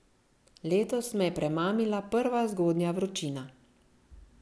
Letos me je premamila prva zgodnja vročina.